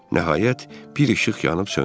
Nəhayət, bir işıq yanıb söndü.